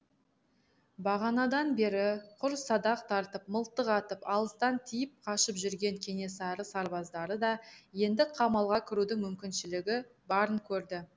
бағанадан бері құр садақ тартып мылтық атып алыстан тиіп қашып жүрген кенесары сарбаздары да енді қамалға кірудің мүмкіншілігі барын көрді